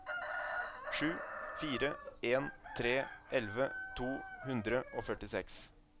sju fire en tre elleve to hundre og førtiseks